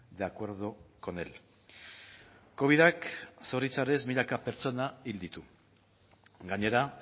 de acuerdo con él covidak zoritxarrez milaka pertsona hil ditu gainera